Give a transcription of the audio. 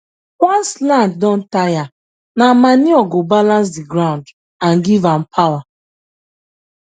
once land don tire nah manure go balance the ground and give am power